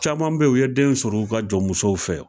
Caman be ye u ye denw sɔrɔ u ka jɔn musow fɛ o